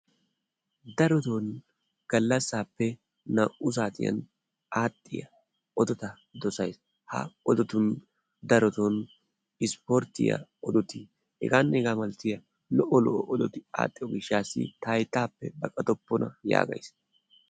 Daroton gallassaappe naa''u saatiyan aadhdhiya odota dosays. Ha odotun darotoo isipporttiya odoti h.h.m lo"o lo"o odoti aadhdhiyo gishshataassi ta hayttaappe baqatoppona yaagays.